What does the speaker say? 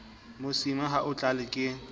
mosima ha o tlale ke